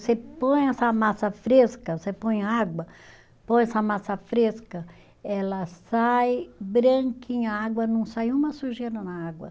Você põe essa massa fresca, você põe água, põe essa massa fresca, ela sai branquinha a água, não sai uma sujeira na água.